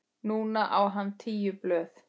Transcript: Núna á hann tíu blöð.